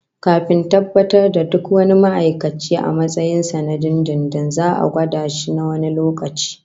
Kafin tabbatar da duk wani ma'aikaci a matsayin na dindindin, za'a gwada shi na wani lokaci